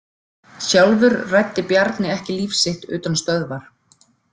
Sjálfur ræddi Bjarni ekki líf sitt utan stöðvar.